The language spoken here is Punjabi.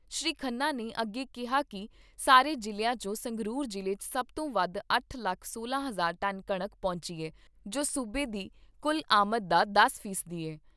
ਸ਼੍ਰੀ ਖੰਨਾ ਨੇ ਅੱਗੇ ਕਿਹਾ ਕਿ ਸਾਰੇ ਜਿਲ੍ਹਿਆਂ ਚੋਂ ਸੰਗਰੂਰ ਜਿਲ੍ਹੇ 'ਚ ਸਭਤੋਂ ਵੱਧ ਅੱਠ ਲੱਖ ਸੋਲਾਂ ਹਜ਼ਾਰ ਟਨ ਕਣਕ ਪਹੁੰਚੀ ਏ ਜੋ ਸੂਬੇ ਦੀ ਕੁੱਲ ਆਮਦ ਦਾ ਦਸ ਫੀਸਦੀ ਏ।